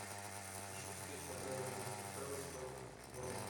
ищу встречу апл кристал пэлас против борнмут